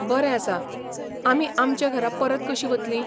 बरें आसा, आमी आमचे घरा परत कशीं वतलीं?